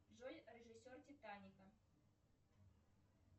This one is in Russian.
джой режиссер титаника